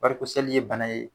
Barikosɛli ye bana ye